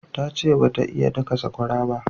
Ta ce ba ta iya daka sakwara ba